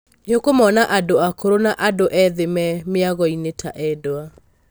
Nĩũkũmona andũ akũrũ na andũ ethĩ me mĩagoinē ta endwa.